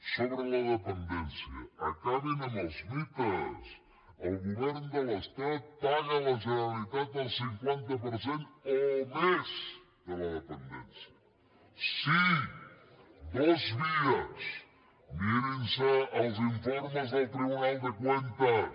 sobre la dependència acabin amb els mites el govern de l’estat paga a la generalitat el cinquanta per cent o més de la dependència els informes del tribunal de cuentas